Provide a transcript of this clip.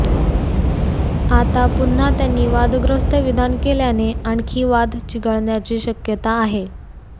आता पुन्हा त्यांनी वादग्रस्त विधान केल्याने आणखी वाद चिघळण्याची शक्यता आहे